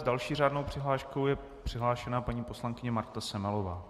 S další řádnou přihláškou je přihlášena paní poslankyně Marta Semelová.